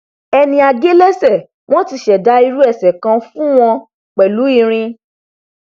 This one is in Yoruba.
ẹni a gé lẹsẹ wọn ti ṣẹdá irú ẹsẹ kan fún wọn pẹlú irin